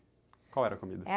Qual era a comida?